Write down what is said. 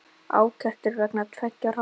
Ákært var vegna tveggja hrossa